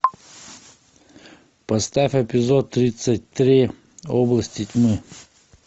поставь эпизод тридцать три области тьмы